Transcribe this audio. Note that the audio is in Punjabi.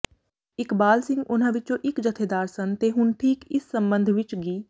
ਇਕਬਾਲ ਸਿੰਘ ਉਨ੍ਹਾਂ ਵਿਚੋਂ ਇਕ ਜਥੇਦਾਰ ਸਨ ਤੇ ਹੁਣ ਠੀਕ ਇਸ ਸਬੰਧ ਵਿਚ ਗਿ